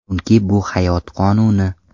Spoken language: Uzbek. Chunki bu hayot qonuni.